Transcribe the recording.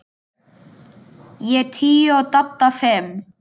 Ég tíu og Dadda fimm.